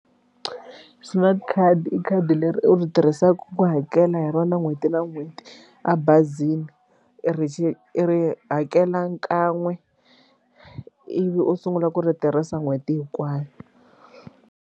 Smart khadi i khadi leri u ri tirhisaka ku hakela hi rona n'hweti na n'hweti a bazini i ri xi i ri hakela kan'we ivi u sungula ku ri tirhisa n'hweti hinkwayo.